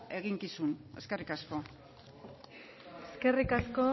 eginkizun eskerrik asko eskerrik asko